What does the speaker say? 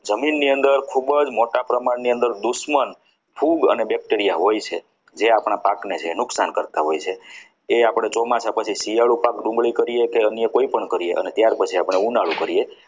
જમીને અંદર ખૂબ જ મોટા પ્રમાણની અંદર દુશ્મન ફૂગ અને bacteria હોય છે જે આપણા પાકને છે એ નુકસાન કરતા હોય છે એ પછી આપણે ચોમાસા પાક પછી શિયાળુ પાક ડુંગળી કરીએ કે કોઈપણ કરીએ કે ત્યાર પછી આપણે ઉનાળો કરીએ.